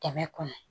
Kɛmɛ kɔnɔ